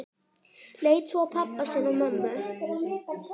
Leit svo á pabba sinn og mömmu.